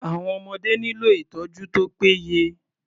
Àwọn ọmọdé nílò ìtọ́jú tó pé yẹ.